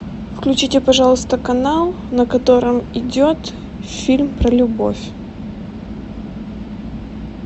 включите пожалуйста канал на котором идет фильм про любовь